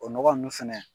O nɔgɔ nunnu fɛnɛ